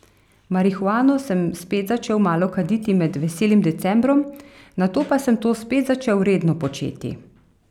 Marihuano sem spet začel malo kaditi med veselim decembrom, nato pa sem to spet začel redno početi.